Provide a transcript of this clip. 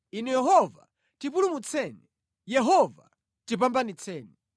Inu Yehova, tipulumutseni; Yehova, tipambanitseni.